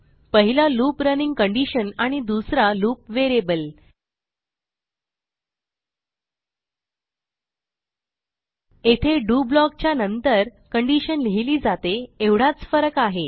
पहिला loop running condition आणि दुसरा लूप व्हेरिएबल येथे डीओ ब्लॉक च्या नंतर कंडिशन लिहिली जाते एवढाच फरक आहे